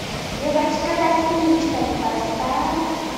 девочка со спичками поставь